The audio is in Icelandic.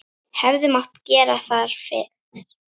Hefði mátt gera það fyrr?